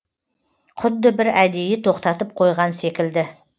құдды бір әдейі тоқтатып қойған секілді